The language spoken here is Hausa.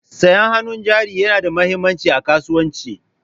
Sayan hannun jari yana da mahimmanci a kasuwanci.